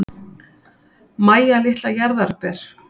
Mæja litla jarðarber.